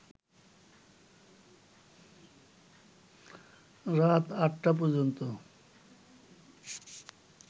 রাত ৮টা পর্যন্ত